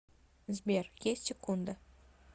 сбер есть секунда